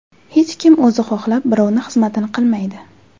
Hech kim o‘zi xohlab birovni xizmatini qilmaydi.